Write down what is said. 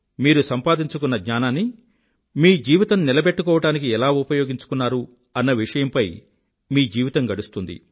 మీరు సంపాదించుకున్న జ్ఞానాన్ని మీ జీవితం నిలబెట్టుకోవడానికి ఎలా ఉపయోగించుకున్నారు అన్న విషయంపై మీ జీవితం గడుస్తుంది